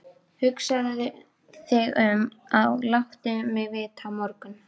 Hugsaðu þig um og láttu mig vita á morgun.